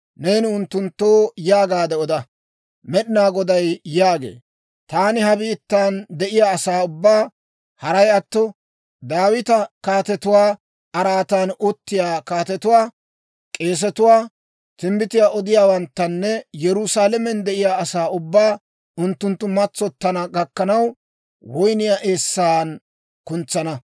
neeni unttunttoo yaagaade oda, Med'inaa Goday yaagee; ‹Taani ha biittan de'iyaa asaa ubbaa, haray atto Daawita kaatetuwaa araatan uttiyaa kaatetuwaa, k'eesetuwaa, timbbitiyaa odiyaawanttanne Yerusaalamen de'iyaa asaa ubbaa, unttunttu matsottana gakkanaw, woyniyaa eessan kuntsana.